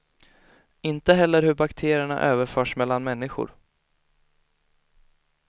Inte heller hur bakterierna överförs mellan människor.